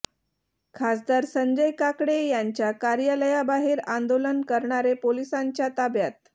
खासदार संजय काकडे यांच्या कार्यालयाबाहेर आंदोलन करणारे पोलिसांच्या ताब्यात